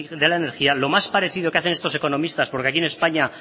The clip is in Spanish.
de la energía lo más parecido que hacen estos economistas porque aquí en españa